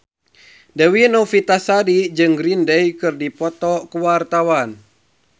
Dewi Novitasari jeung Green Day keur dipoto ku wartawan